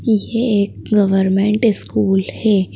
यह एक government school है।